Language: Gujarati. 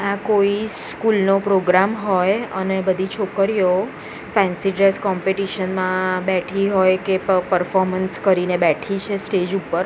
આ કોઈ સ્કૂલ નો પ્રોગ્રામ હોઈ અને બધી છોકરીઓ ફેન્સી ડ્રેસ કોમ્પિટિશન માં બેઠી હોઈ કે પ પરફોર્મન્સ કરીને બેઠી છે સ્ટેજ ઉપર.